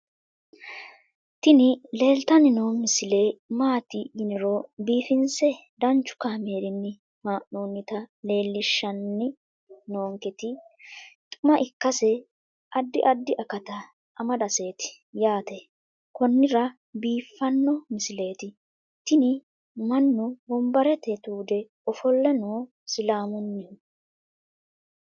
tini leeltanni noo misile maaati yiniro biifinse danchu kaamerinni haa'noonnita leellishshanni nonketi xuma ikkase addi addi akata amadaseeti yaate konnira biiffanno misileeti tini mannu wombarete tuude ofolle no islaamunnihu